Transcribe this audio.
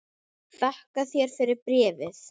Þakka þér fyrir bréfið!